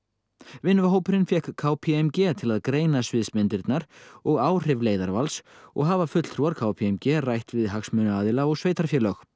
vinnuhópurinn fékk k p m g til að greina sviðsmyndirnar og áhrif leiðarvals og hafa fulltrúar k p m g rætt við hitt hagsmunaaðila og sveitarfélög